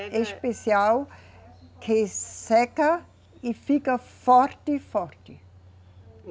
É especial, que seca e fica forte, forte.